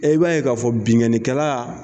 E b'a ye k'a fɔ binnkannikɛla